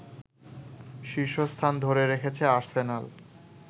শীর্ষস্থান ধরে রেখেছে আর্সেনাল